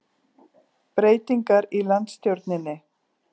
Breytingar í landsstjórninni